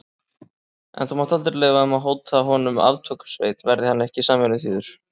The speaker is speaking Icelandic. En þú mátt leyfa þeim að hóta honum aftökusveit, verði hann ekki samvinnuþýður.